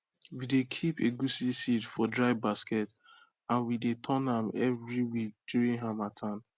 we dey keep egusi seed for dry basket and we dey turn am every week during harmattan